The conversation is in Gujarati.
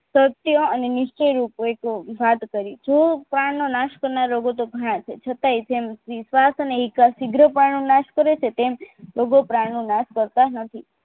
સત્ય અને નિશ્ચય રૂપોએ તો વાત કરી જો પ્રાણનો નાશ કરનારા રોગો તો ગણાય છે છતાય તેમ વિશ્વાસ અને એક સીગ્રપણનો નાશ કરે છે તેમ રોગો પ્રાણ નો નાશ કરતા નથી